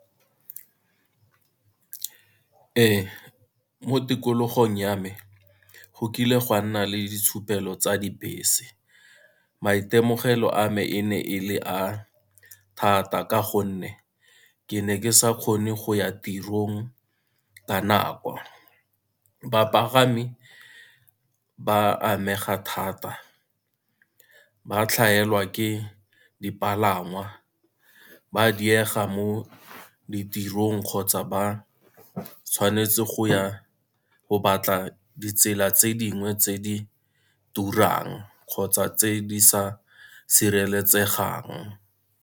Ee, mo tikologong ya me go kile gwa nna le ditshupelo tsa dibese, maitemogelo a me e ne e le a thata ka gonne ke ne ke sa kgone go ya tirong ka nako. Bapagami ba amega thata, ba tlhaelwa ke dipalangwa, ba diega mo ditirong kgotsa ba tshwanetse go ya go batla ditsela tse dingwe tse di turang kgotsa tse di sa sireletsegang.